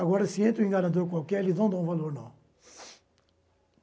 Agora, se entra um engarandor qualquer, eles não dão valor, não.